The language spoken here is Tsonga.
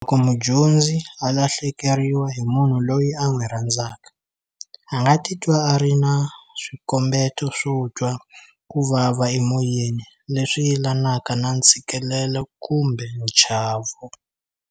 Loko mudyondzi a lahlekeriwa hi munhu loyi a n'wi rhandzaka, a nga titwa a ri na swikombeto swo twa ku vava emoyeni leswi yelanaka na ntshikelelo kumbe nchavo.